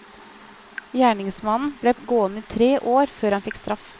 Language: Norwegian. Gjerningsmannen ble gående i tre år før han fikk straff.